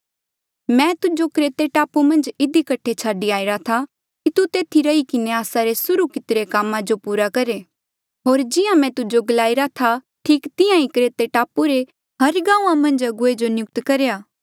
मैं तुजो क्रेते टापू मन्झ इधी कठे छाडी आईरा था कि तू तेथी रही किन्हें आस्सा रे सुर्हू कितिरे कामा जो पूरा करहे होर जिहां मैं तुजो गलाईरा था ठीक तिहां ही क्रेते टापू रे हर गांऊँआं मन्झ अगुवे जो नियुक्त करेया